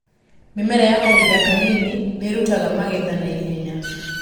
Mĩmera ya kahinda kanini nĩĩrutaga magetha naihenya.